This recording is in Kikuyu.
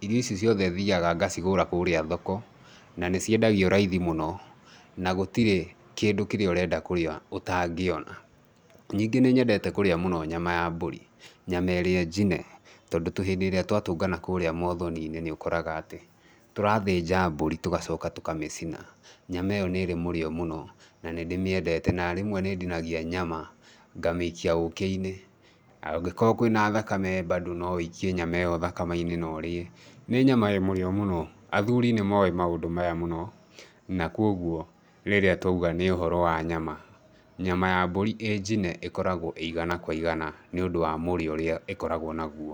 irio ici ciothe thiyaga ngacigũra kũrĩa thoko, na nĩ ciendagio raithi mũno. Na gũtirĩ kĩndũ kĩrĩa ũrenda kũrĩa ũtangĩona. Ningĩ nĩnyendete kũrĩa mũno nyama ya mbũri nyama ĩrĩa njine, tondũ hĩndĩ ĩrĩa twatũngana kũrĩa mothoni-inĩ nĩũkoraga atĩ tũrathĩnja mbũri tũgacoka tũkamĩcina. Nyama ĩyo nĩrĩ mũrĩo mũno na nĩndĩmĩendete na rĩmwe nĩndinagia nyama ngamĩikia ũkĩ-inĩ, angĩkorwo kwĩna thakame bado no wũikie nyama ĩyo thakame-inĩ na ũrĩe. Nĩ nyama ĩrĩ mũrĩo mũno athuri nĩmoĩ maũndũ maya mũno na koguo rĩrĩa twauga nĩ ũhoro wa nyama. Nyama ya mbũri ĩrĩ njine ĩkoragwo ĩrĩ igana kwa igana nĩũndũ wa mũrĩo mũrĩo ũrĩa ĩkoragwo naguo